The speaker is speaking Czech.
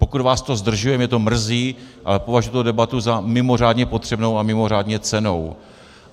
Pokud vás to zdržuje, mě to mrzí, ale považuji tuto debatu za mimořádně potřebnou a mimořádně cennou.